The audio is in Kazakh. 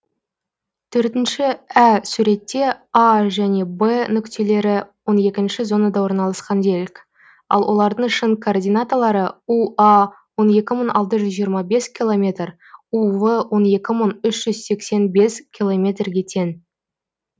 төртінші ә суретте а және в нүктелері он екінші зонада орналасқан делік ал олардың шын координаталары уа он екі мың алты жүз жиырма бес километр ув он екі мың үз жүз сексен бес километрге тең